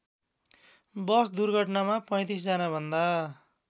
बस दुर्घटनामा ३५जनाभन्दा